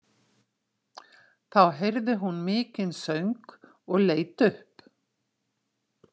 Þá heyrði hún mikinn söng og leit upp.